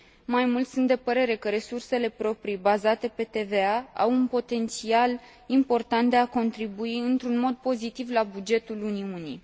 Mai mult, sunt de părere că resursele proprii bazate pe TVA au un potențial important de a contribui într un mod pozitiv la bugetul Uniunii.